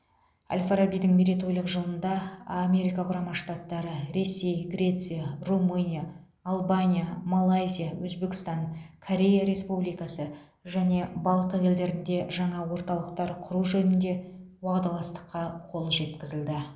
әл фарабидің мерейтойлық жылында америка құрама штаттары ресей греция румыния албания малайзия өзбекстан корея республикасы және балтық елдерінде жаңа орталықтар құру жөнінде уағдаластыққа қол жеткізілді